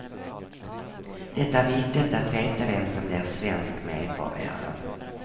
Det är viktigt att veta vem som blir svensk medborgare.